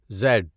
Z